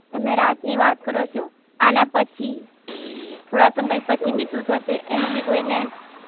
તમે રાત ની વાત કરો છો, થોડા સમય પછી બી સુ થશે એનું બી કોઈને